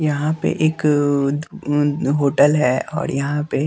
यहां पे एक अह होटल है और यहां पे--